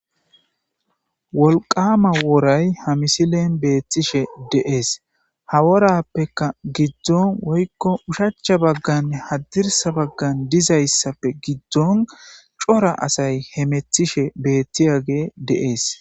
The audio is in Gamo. Wolqama woray ha misilen beettishe de'ees. Ha worappeka giddon woykko ushachcha baggan hadirsa baggan dizayssappe giddon cora asay hametishe beettiyage de'ees.